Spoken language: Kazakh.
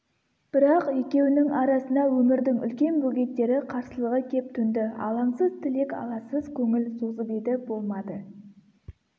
бірақ екеуінің арасына өмірдің үлкен бөгеттері қарсылығы кеп төнді алаңсыз тілек аласыз көңіл созып еді болмады